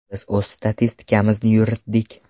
Biz o‘z statistikamizni yuritdik.